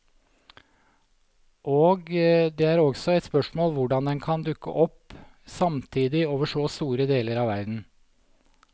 Og det er også et spørsmål hvordan den kan dukke opp samtidig over så store deler av verden.